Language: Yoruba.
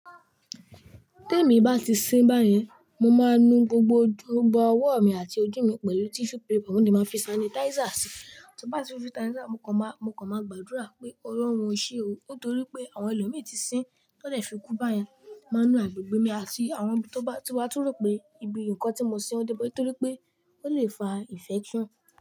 Tí èmi bá ti sín báyẹn, mo máa nu gbogbo ojú- gbogbo ọwọ́ mi àti ojú mi pẹ̀lú tissue paper, mo dẹ̀ máa fi sanitizer sí i. Tí bá ti fi sanitizer, mo kàn máa, mo kàn máa gbàdúrà pé Ọlọ́run o ṣé o, nítorí pé àwọn ẹlòmí tí sín tó dẹ̀ fi kú báyẹn. Máa nu agbègbè mi àti àwọn ibi tó bá ti bá tún rò pé ibi nǹkan tí mo sín dé pé, nítorí pé ó lè fa ìnfection.